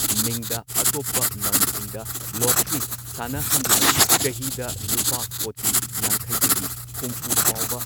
ꯃꯤꯡꯗ ꯑꯇꯣꯞꯄ ꯂꯝꯁꯤꯡꯗ ꯂꯣꯇꯔꯤ ꯁꯥꯟꯅꯍꯟꯗꯨꯅ ꯆꯍꯤꯗ ꯂꯨꯄꯥ ꯀꯣꯇꯤ ꯌꯥꯡꯈꯩꯗꯒꯤ ꯍꯨꯝꯐꯨ ꯐꯥꯎꯕ